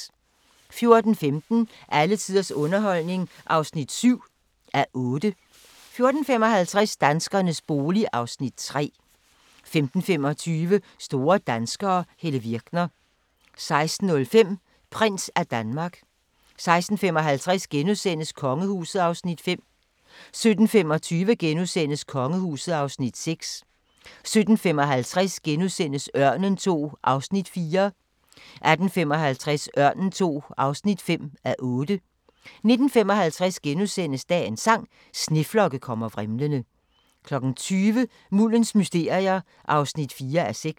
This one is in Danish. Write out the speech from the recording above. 14:15: Alle tiders underholdning (7:8) 14:55: Danskernes bolig (Afs. 3) 15:25: Store danskere - Helle Virkner 16:05: Prins af Danmark 16:55: Kongehuset (Afs. 5)* 17:25: Kongehuset (Afs. 6)* 17:55: Ørnen II (4:8)* 18:55: Ørnen II (5:8) 19:55: Dagens sang: Sneflokke kommer vrimlende * 20:00: Muldens mysterier (4:6)